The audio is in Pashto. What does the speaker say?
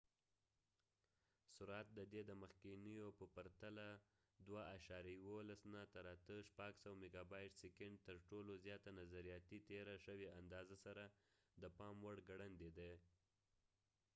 د ۸-۲.۱۱ n سرعت د دې د مخکینیو په پرتله د ۶۰۰ ميګابټ/سيکنډ ترټولو زیاته نظرياتي تېره شوې اندازه سره د پام وړ ګړندی دی